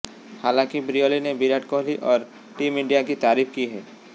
हालांकि ब्रियली ने विराट कोहली और टीम इंडिया की तारीफ की है